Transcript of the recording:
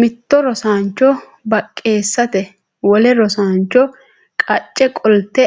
Mitto rosaancho baqqeessite wole rosaancho qacce qolte